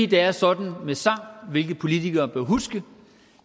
det er sådan med sang hvilke politikere bør huske at